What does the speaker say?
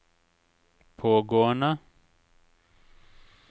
pågående